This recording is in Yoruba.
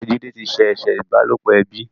Mr Jide tí ṣe eṣe ìbálòpọ̀ ẹbí.